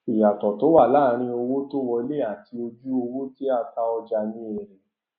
ìyàtò tó wà láàárín owó tó wọlé àti ojú owó tí a ta ọjà ni èrè